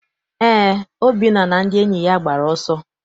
Eé, Obinna na ndị enyi ya gbara ọsọ.